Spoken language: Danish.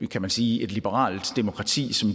kan man sige liberalt demokrati som